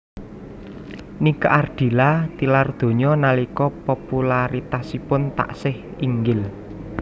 Nike Ardilla tilar donya nalika popularitasipun taksih inggil